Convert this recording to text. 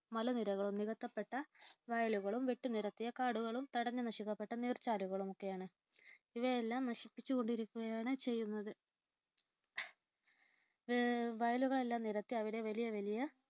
മലനിരകളും, നികത്തപ്പെട്ട വയലുകളും, വെട്ടിനിരത്തിയ കാടുകളും, തടഞ്ഞു നശിക്കപ്പെട്ട നീർചാലുകളുമൊക്കെയാണ്. ഇവയെല്ലാം നശിപ്പിച്ചുകൊണ്ടിരിക്കുകയാണ് ചെയ്യുന്നത്. വയലുകളെല്ലാം നികത്തി അവിടെ വലിയ വലിയ